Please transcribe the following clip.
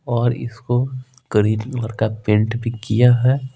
और इसको green colour का पेंट भी किया है।